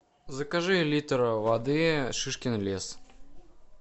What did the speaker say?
закажи литр воды шишкин лес